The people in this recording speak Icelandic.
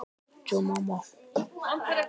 Þau eiga soninn Arnþór Ása.